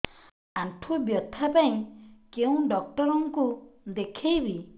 ଆଣ୍ଠୁ ବ୍ୟଥା ପାଇଁ କୋଉ ଡକ୍ଟର ଙ୍କୁ ଦେଖେଇବି